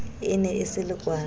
e ne e se lekwala